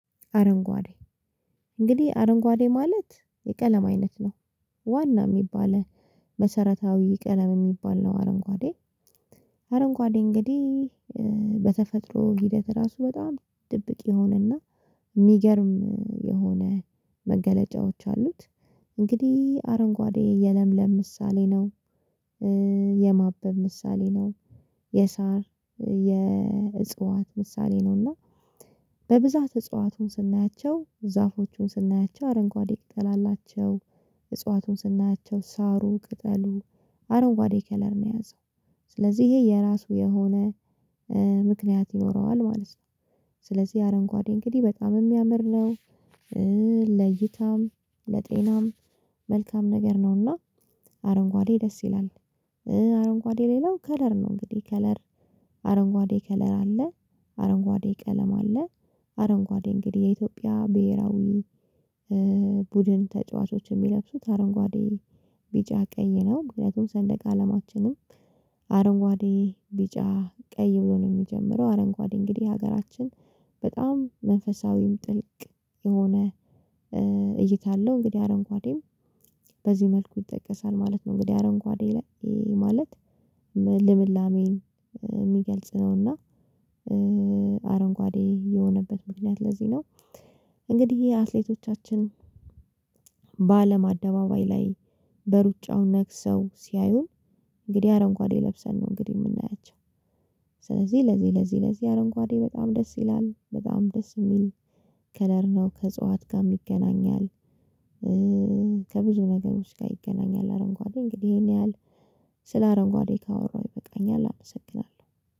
አረንጓዴ። እንግዲህ አረንጓዴ ማለት የቀለም አይነት ነው። ዋና የሚባል መሰረታዊ ቀለም የሚባል ነው። አረንጓዴ። አረንጓዴ እንግዲህ በተፈጥሮ ሂደት ራሱ በጣም ድብቅ የሆነና የሚገርም የሆነ መገለጫዎች አሉት። እንግዲህ አረንጓዴ የለምለም ምሳሌ ነው። የማበብ ምሳሌ ነው። የሳር የእጽዋት ምሳሌ ነው። እና በብዛት እጽዋቱን ስናያቸው ዛፎቹን ስናያቸው አረንጓዴ ቅጠል አላቸው። እጽዋቱን ስናያቸው ሳሩ ቅጠሉ አረንጓዴ ከለር ነው የያዘው። ስለዚህ ይሄ የራሱ የሆነ ምክንያት ይኖረዋል ማለት ነው። ስለዚህ አረንጓዴ እንግዲህ በጣም የሚያምር ነው። ለይታም ለጤናም መልካም ነገር ነውና። አረንጓዴ ደስ ይላል። አረንጓዴ ሌላው ከለር ነው እንግዲህ ከለር አረንጓዴ ከለር አለ። አረንጓዴ ቀለም አለ። አረንጓዴ እንግዲህ የኢትዮጵያ ብሄራዊ ቡድን ተጫዋቾች የሚለብሱት አረንጓዴ ቢጫ ቀይ ነው። ምክንያቱም ሰንደቀ አለማችንም አረንጓዴ ቢጫ ቀይ ብሎ ነው የሚጀምረው። አረንጓዴ እንግዲህ ሀገራችን በጣም መንፈሳዊም ጥልቅ የሆነ እይታ አለው። እንግዲህ አረንጓዴ በዚህ መልኩ ይጠቀሳል ማለት ነው። እንግዲህ አረንኳዴ ማለት ልምላሜን የሚገልጽ ነውና። አረንጓዴ የሆነበት ምክንያት ለዚህ ነው። እንግዲህ አትሌቶቻችን በአለም አደባባይ ላይ በሩጫው ነግሰው ሲያዩ እንግዲህ አረንኳዴ ለብሰን ነው እንግዲህ የምናያቸው። ስለዚህ ለዚህ ለዚህ ለዚህ አረንጓዴ በጣም ደስ ይላል በጣም ደስ የሚል ከለር ነው ከእጽዋት ጋም ይገናኛል። ከብዙ ነገሮች ጋር ይገናኛል አረንጓዴ እንግዲህ ይሄን ያህል ስለ አረንጓዴ ካወራሁ ይበቃኛል አመሰግናለሁ።